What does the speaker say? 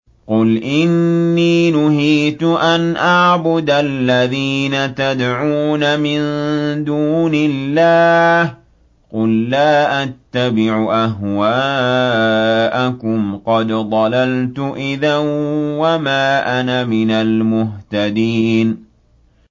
قُلْ إِنِّي نُهِيتُ أَنْ أَعْبُدَ الَّذِينَ تَدْعُونَ مِن دُونِ اللَّهِ ۚ قُل لَّا أَتَّبِعُ أَهْوَاءَكُمْ ۙ قَدْ ضَلَلْتُ إِذًا وَمَا أَنَا مِنَ الْمُهْتَدِينَ